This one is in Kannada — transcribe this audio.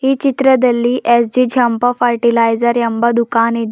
ಈ ಚಿತ್ರದಲ್ಲಿ ಎಸ್_ಜಿ ಜಂಪ ಪಟಿ೯ಲೈಜರ್ ಎಂಬ ದುಖಾನ ಇದೆ.